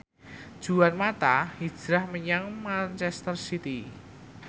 Juan mata hijrah menyang manchester city